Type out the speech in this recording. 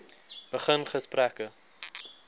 begin gesprekke